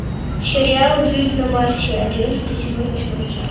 сериал жизнь на марсе одиннадцатый сезон восьмая часть